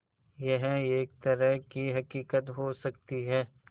यह एक तरह की हक़ीक़त हो सकती है